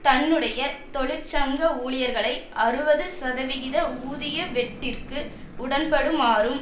தன்னுடைய தொழிற்சங்க ஊழியர்களை அறுபது சதவிகித ஊதிய வெட்டிற்கு உடன்படுமாறும்